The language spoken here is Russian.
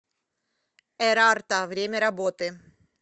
эрарта время работы